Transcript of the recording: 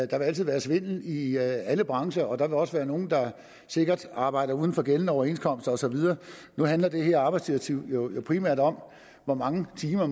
der vil altid være svindel i i alle brancher og der vil også være nogle der sikkert arbejder uden for gældende overenskomster og så videre nu handler det her arbejdsdirektiv jo primært om hvor mange timer